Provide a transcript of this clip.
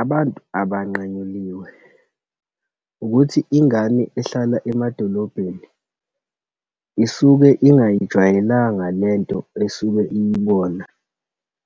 Abantu abanqanyuliwe, ukuthi ingane ehlala emadolobheni isuke ingayijwayelanga lento esuke iyibona,